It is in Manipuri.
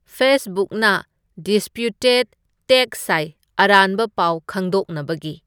ꯐꯦꯁꯕꯨꯛꯅ ꯗꯤꯁꯄ꯭ꯌꯨꯇꯦꯗ ꯇꯦꯛ ꯁꯥꯏ ꯑꯔꯥꯟꯕ ꯄꯥꯎ ꯈꯪꯗꯣꯛꯅꯕꯒꯤ